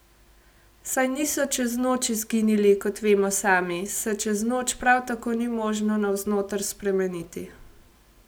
Saj niso čez noč izginili, kot vemo sami, se čez noč prav tako ni možno navznoter spremeniti.